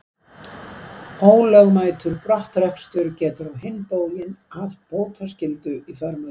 Ólögmætur brottrekstur getur á hinn bóginn haft bótaskyldu í för með sér.